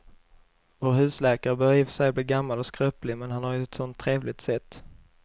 Vår husläkare börjar i och för sig bli gammal och skröplig, men han har ju ett sådant trevligt sätt!